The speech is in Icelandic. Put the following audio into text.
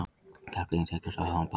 Karldýrin þekkjast af háum bakugganum.